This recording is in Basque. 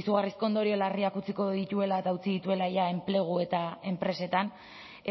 izugarrizko ondorio larriak utziko dituela eta utzi dituela ja enplegu eta enpresetan